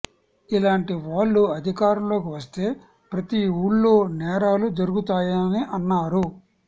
ఇలాంటి వాళ్లు అధికారంలోకి వస్తే ప్రతి ఊళ్లో నేరాలు జరుగుతాయని అన్నారు